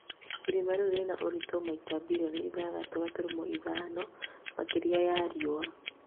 irima rĩu rĩna ũrito maita bilioni ithathatu gaturumo ithano makiria ya riua